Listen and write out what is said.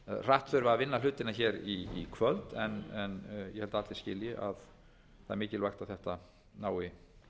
hratt þurfi að vinna hlutina í kvöld en ég held að allir skilji að það er mikilvægt að þetta nái